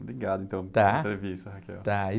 Tá?brigado, então, pela entrevista, .á, e...